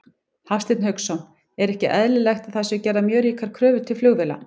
Hafsteinn Hauksson: Er ekki eðlilegt að það séu gerðar mjög ríkar kröfur til flugvéla?